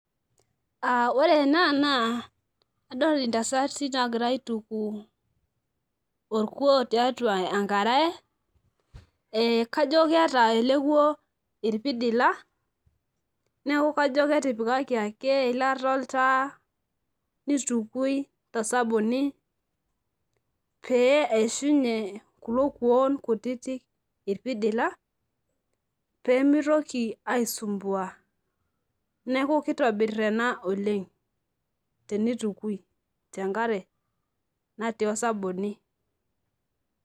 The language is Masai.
ore ena naa adol intasati, naagira aituku rkuoo tiatua enkarae.ee kajo keeta ele kuo irpidila, neeku kajo ketikaki ake eilata oltaa nitukui tosabuni. pee eishunye kulo kuoo kutiti irpisidila, pee mitoki aisumbua. neku kitobir ena oleng tenitukui tenkare natii oasabuni.